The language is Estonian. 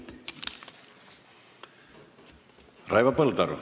Raivo Põldaru.